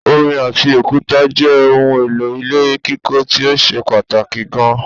Omi ati òkúta jẹ́ ohun èlò ilé kíkọ́ tíó ṣe pàtàkì gan